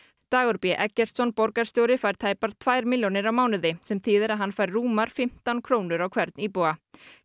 Dagur b Eggertsson borgarstjóri fær tæpar tvær milljónir á mánuði sem þýðir að hann fær rúmar fimmtán krónur á hvern íbúa